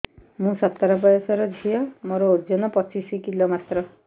ମୁଁ ସତର ବୟସର ଝିଅ ମୋର ଓଜନ ପଚିଶି କିଲୋ ମାତ୍ର